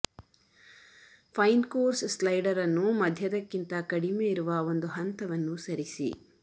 fine coarse slider ಅನ್ನು ಮಧ್ಯದಕ್ಕಿಂತ ಕಡಿಮೆ ಇರುವ ಒಂದು ಹಂತವನ್ನು ಸರಿಸಿ